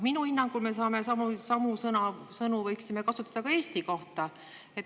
" Minu hinnangul me võiksime samu sõnu kasutada ka Eesti kohta.